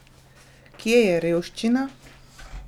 Kje je revščina?